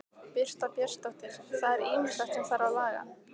Birta Björnsdóttir: Það er ýmislegt sem þarf að laga?